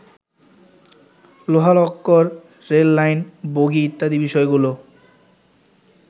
লোহালক্কর, rail line, bogie ইত্যাদি বিষয়গুলো